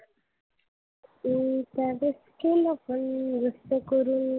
हम्म त्यावेळेस केलं पण जास्त करून,